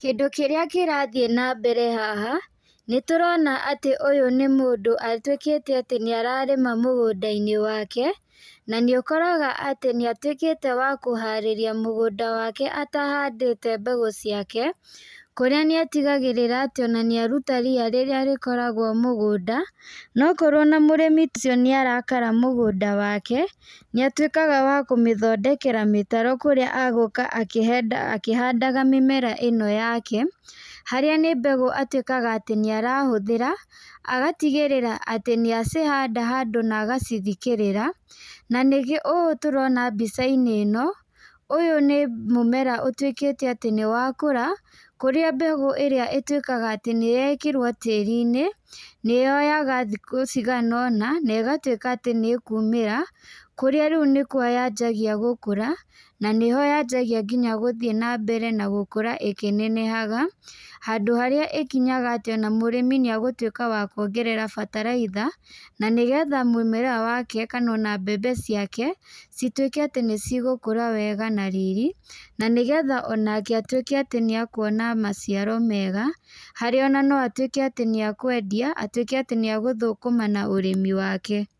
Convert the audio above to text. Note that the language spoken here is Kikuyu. Kĩndũ kĩrĩa kĩrathiĩ na mbere haha, nĩ tũrona atĩ ũyũ nĩ mũndũ atuĩkĩte atĩ nĩ ararĩma mũgũnda-inĩ wake, na nĩ ũkoraga atĩ nĩ atuĩkĩte wa kũharĩria mũgũnda wake atahandĩte mbegũ ciake. Kũrĩa nĩ atigagĩrĩra atĩ ona nĩ aruta ria rĩrĩa rĩkoragwo mũgũnda, nokorwo na mũrĩmi ũcio nĩ arakara mũgũnda wake, nĩ atuĩkaga wa kũmĩthondekera mĩtaro kũrĩa agũka akĩhandaga mĩmera ĩno yake, harĩa nĩ mbegũ atuĩkaga atĩ nĩ arahũthĩra, agatigĩrĩra atĩ nĩ acihanda handũ na agacithikĩrĩra, na nĩkĩo. Ũũ tũrona mbica-inĩ ĩno, ũyũ nĩ mũmera ũtuĩkĩte atĩ nĩ wakũra, kũrĩa mbegũ ĩrĩa ĩtuĩkaga atĩ nĩ yekĩrwo tĩrĩ-inĩ, nĩ yoyaga thikũ cigana ũna, na ĩgatuĩka atĩ nĩ ĩkũmĩra. Kũrĩa rĩu nĩkuo yanjagia gũkũra, na nĩho yanjagia nginya gũthiĩ na mbere na gũkũra ĩkĩnenehaga, handũ harĩa ĩkinyaga atĩ ona mũrĩmi nĩ agũtuĩka wa kuongerera bataraitha, na nĩgetha mũmera wake kana ona mbembe ciake, cituĩke atĩ nĩ cigũkũra wega na riri. Na nĩgetha onake atuĩke atĩ nĩ akuona maciaro mega, harĩa ona no atuĩke atĩ nĩ a kwendia, atuĩke atĩ nĩ a gũthũkũma na ũrĩmi wake.